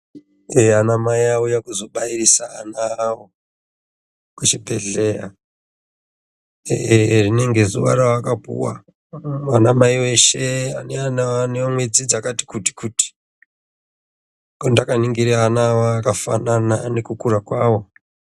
Anamai auya kuzobyisa ana awo kuchibhehleya rinenge zuwa raakapuwa anamai eshe ane ana anemwedzi yakati kutikuti ndakaningire ana aya akafanana nekukura kwawo.